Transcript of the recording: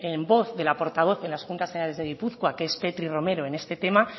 en voz de la portavoz de las juntas generales de gipuzkoa que es petri romero en este tema